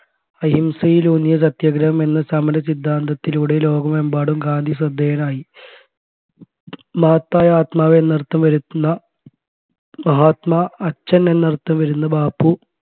അഹിംസയിലൂന്നിയ സത്യാഗ്രഹം എന്ന സമര സിദ്ധാന്തത്തിലൂടെ ലോകമെമ്പാടും ഗാന്ധി ശ്രദ്ധേയനായി മഹത്തായ ആത്മാവ് എന്നർത്ഥം വരുത്തുന്ന മഹാത്മാ അച്ഛൻ എന്നർത്ഥം വരുന്ന ബാപ്പു